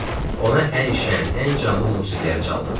Ona ən şən, ən canlı musiqiləri çaldım.